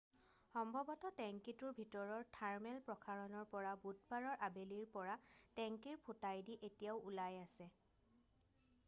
সম্ভৱত টেঙ্কীটোৰ ভিতৰৰ থাৰ্মেল প্ৰসাৰণৰ পৰা বুধবাৰৰ আবেলিৰ পৰা টেঙ্কীৰ ফুটাইদি এতিয়াও ওলাই আছে